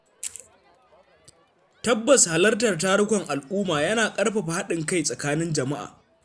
Tabbas Halartar tarukan al’umma yana ƙarfafa haɗin kai tsakanin jama’a.